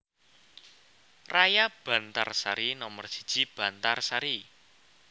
Raya Bantarsari Nomer siji Bantarsari